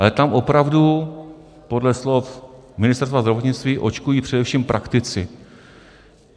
Ale tam opravdu podle slov Ministerstva zdravotnictví očkují především praktici.